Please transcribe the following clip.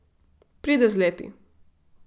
Pride z leti.